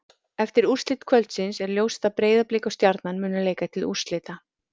Eftir úrslit kvöldsins er ljóst að Breiðablik og Stjarnan munu leika til úrslita.